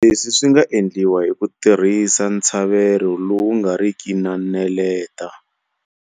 Leswi swi nga endliwa hi ku tirhisa ntshavelo lowu nga ri ki na neleta.